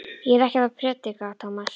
Ég er ekkert að predika, Tómas.